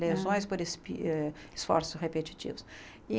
Lesões por es eh esforços repetitivos.